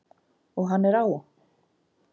Og hann er á!